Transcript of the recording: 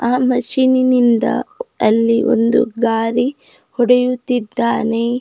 ಆ ಮೆಷಿನಿನಿಂದ ಅಲ್ಲಿ ಒಂದು ಗಾರಿ ಹೊಡೆಯುತ್ತಿದ್ದಾನೆ.